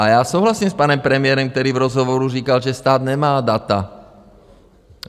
A já souhlasím s panem premiérem, který v rozhovoru říkal, že stát nemá data.